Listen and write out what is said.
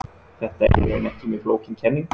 Þetta er í raun ekki mjög flókin kenning.